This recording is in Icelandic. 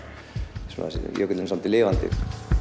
jökullinn er svolítið lifandi